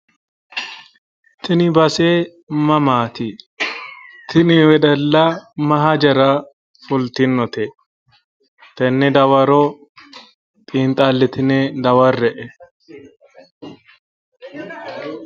Tini base mamaati? Tini wedella ma hajara fultinote tenne dawaro xiinxalitine dawarre''e.